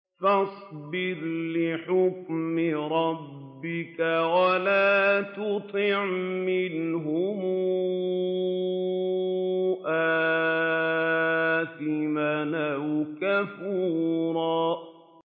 فَاصْبِرْ لِحُكْمِ رَبِّكَ وَلَا تُطِعْ مِنْهُمْ آثِمًا أَوْ كَفُورًا